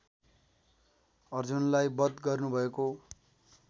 अर्जुनलाई बध गर्नुभएको